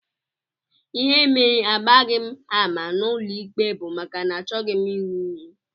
Ihe mere agbaghị m ama n'ụlọikpe bụ maka na achọghị m ịṅụ iyi